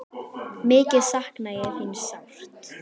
Mikið sakna ég þín sárt.